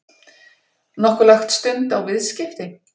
Nokkuð lagt stund á viðskipti?